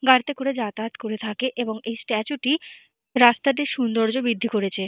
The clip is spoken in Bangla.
গাড়িতে করে যাতায়াত করে থাকে এবং এই স্ট্যাচু -টি রাস্তাটির সৌন্দর্য বৃদ্ধি করেছে।